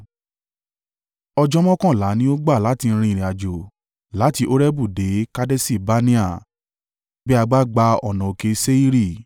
(Ọjọ́ mọ́kànlá ni ó gbà láti rin ìrìnàjò láti Horebu dé Kadeṣi-Barnea, bí a bá gba ọ̀nà òkè Seiri.)